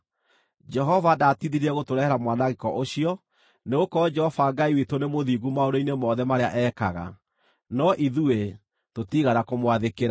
Jehova ndaatithirie gũtũrehere mwanangĩko ũcio, nĩgũkorwo Jehova Ngai witũ nĩ mũthingu maũndũ-inĩ mothe marĩa ekaga; no, ithuĩ tũtiigana kũmwathĩkĩra.